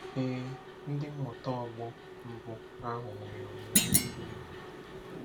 Ee, ndị mmụta ọgbọ mbụ ahụ nwere olileanya siri ike.